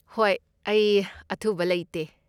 ꯍꯣꯏ, ꯑꯩ ꯑꯊꯨꯕ ꯂꯩꯇꯦ꯫